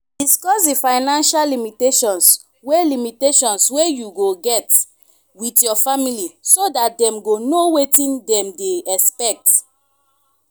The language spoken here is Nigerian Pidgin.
discuss di financial limitations wey limitations wey you get with your family so dat dem go know wetin dem dey expect